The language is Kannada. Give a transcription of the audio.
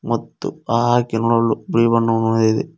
ಮತ್ತು ಆ ಕೆಮ್ಮಲು ಬ್ರೆವನ್ನು ನೋಯಿದೆ.